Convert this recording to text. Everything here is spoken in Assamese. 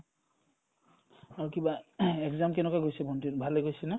আৰু কিবা exam কেনেকুৱা গৈছে ভণ্টিৰ ভালে গৈছে না ?